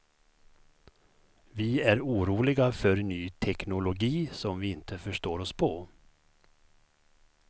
Vi är oroliga för ny teknologi som vi inte förstår oss på.